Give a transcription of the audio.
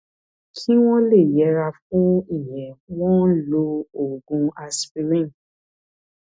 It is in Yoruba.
kí wọn lè yẹra fún ìyẹn wọn ń lo oògùn aspirin